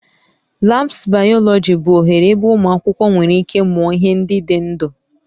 Labs biology bụ oghere ebe ụmụ akwụkwọ nwere ike mụọ ihe ndị dị ndụ